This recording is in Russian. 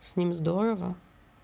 с ним здорово